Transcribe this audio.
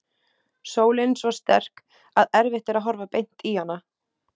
Sólin svo sterk að erfitt er að horfa beint í hana.